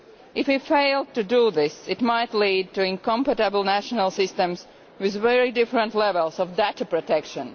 If we fail to do this it might lead to incompatible national systems with very different levels of data protection.